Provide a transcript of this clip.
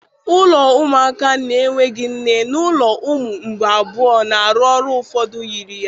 Ụlọ ụmụaka na-enweghị nne na ụlọ ụmụ mgbei abụọ na-arụ ọrụ ụfọdụ yiri ya.